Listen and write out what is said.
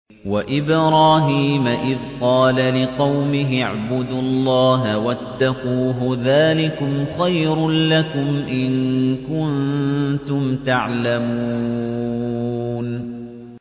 وَإِبْرَاهِيمَ إِذْ قَالَ لِقَوْمِهِ اعْبُدُوا اللَّهَ وَاتَّقُوهُ ۖ ذَٰلِكُمْ خَيْرٌ لَّكُمْ إِن كُنتُمْ تَعْلَمُونَ